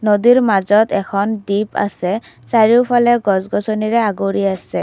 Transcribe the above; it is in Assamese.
নদীৰ মাজত এখন দ্বীপ আছে চাৰিওফালে গছ-গছনিৰে আগুৰি আছে।